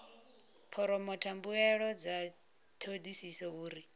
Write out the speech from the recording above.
phoromotha mbuelo dza thodisiso uri